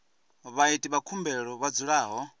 vhaiti vha khumbelo vha dzulaho